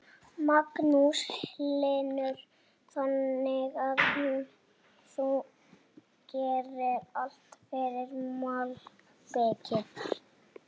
Magnús Hlynur: Þannig að þú gerir allt fyrir malbikið?